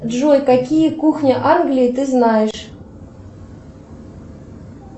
джой какие кухни англии ты знаешь